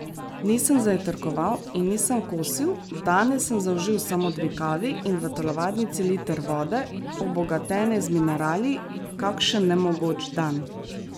Nisem zajtrkoval in nisem kosil, danes sem zaužil samo dve kavi in v telovadnici liter vode, obogatene z minerali, kakšen nemogoč dan!